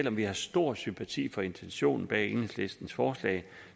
at vi har stor sympati for intentionen bag enhedslistens forslag